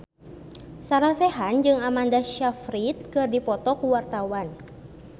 Sarah Sechan jeung Amanda Sayfried keur dipoto ku wartawan